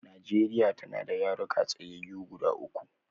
Nigeria tana da yaruka tsayyayu guda uku